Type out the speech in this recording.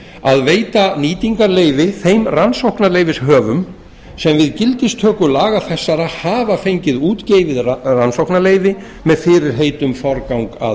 að veita nýtingarleyfi þeim rannsóknarleyfishöfum sem við gildistöku laga þessara hafa fengið útgefið rannsóknarleyfi með fyrirheit um forgang að